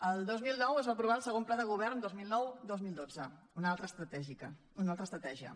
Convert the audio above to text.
el dos mil nou es va aprovar el segon pla de govern dos mil noudos mil dotze una altra estratègia